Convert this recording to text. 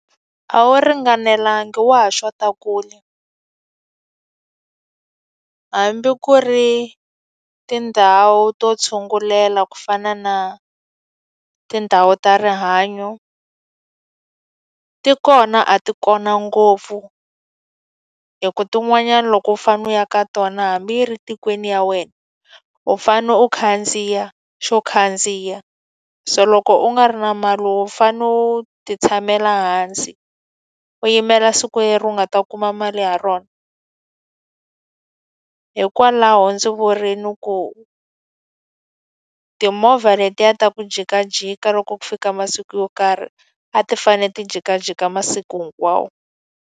A wu ringanelanga wa ha xotaku kule hambi ku ri tindhawu to tshungulela ku fana na tindhawu ta rihanyo, ti kona a ti kona ngopfu. Hikuva tin'wanyana loko u fanele u ya ka tona hambi yi ri tikweni ya wena u fanele u khandziya xo khandziya. So loko u nga ri na mali u fanele u ti tshamela hansi, u yimela siku leri u nga ta kuma mali ha rona. Hikwalaho ndzi vurile ku timovha letiya ta ku jikajika loko ku fika masiku yo karhi, a ti fanele ti jikajika masiku hinkwawo.